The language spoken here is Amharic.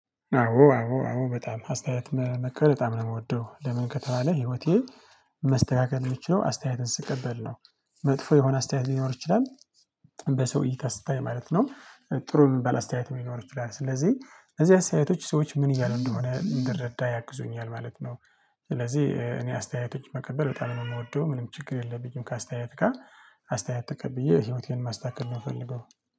አዎ አዎ አዎ በጣም አስተያየት መቀ በጣም ነው የምወደው። ለምን ከተባለ ህይወቴ መስተካከል የሚችለው አስተያየትን ስቀበል ነው። መጥፎ የሆነ አስተያየት ሊኖር ይችላ። በሰውዬ እይታ ሲታይ ማለት ነው። ጥሩ የሚባል አስተያየትም ሊኖር ይችላል። ስለዚህ ለዚህ አስተያየቶች ሰዎች ምን እያሉ እንደሆነ እንድረዳ ያግዙኛ። ማለት ነው። ስለዚህ እኔ አስተያየቶች መቀበል በጣም ነው። የምወደው ምንም ችግር የለብኝ። ከአስተያየት ጋር አስተያየት ተቀብዬ ህይወቴን ማስተካከል የምፈልገው።